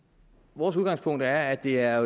vores udgangspunkt er at det er